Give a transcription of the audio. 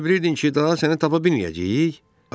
Elə bilirdin ki, daha səni tapa bilməyəcəyik?